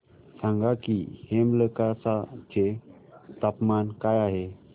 सांगा की हेमलकसा चे तापमान काय आहे